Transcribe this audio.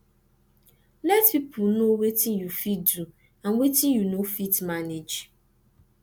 let pipo no wetin yu fit do and wetin yu no fit manage